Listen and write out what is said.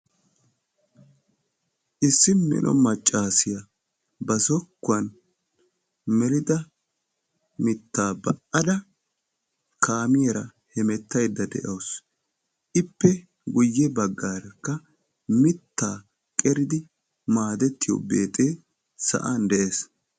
issi mino maccassiya ba zokkuwan melida mittaa ba'adda kaamiyaara hemettaydda de'awus, ippe guyye baggarakka mitta qeridi maaddetiyo beexxee sa'an de'ees.